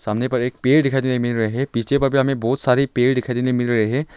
सामने बड़े एक पेड़ दिखाई देने मिल रहे हैं पीछे बगल भी हमें बहुत सारे पेड़ दिखाई देने मिल रहे हैं।